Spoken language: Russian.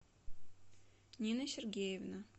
нина сергеевна